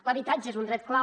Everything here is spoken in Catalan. l’habitatge és un dret clau